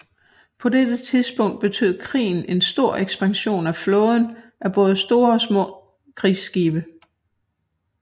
På dette tidspunkt betød krigen en stor ekspansion af flåden af både store og små krigsskibe